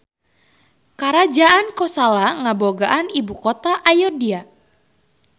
Karajaan Kosala ngabogaan ibukota Ayodya.